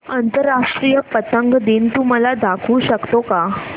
आंतरराष्ट्रीय पतंग दिन तू मला दाखवू शकतो का